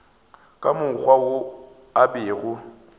ka mokgwa wo a bego